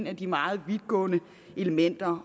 af de meget vidtgående elementer